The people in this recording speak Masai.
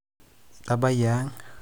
itabayie ang